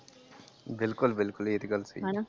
ਬਿਲਕੁੱਲ ਬਿਲਕੁੱਲ ਇਹ ਤੇ ਗੱਲ ਸਹੀ ।